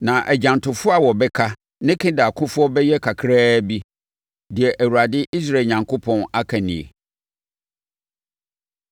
Na agyantofoɔ a wɔbɛka ne Kedar akofoɔ bɛyɛ kakraa bi.” Deɛ Awurade, Israel Onyankopɔn, aka nie.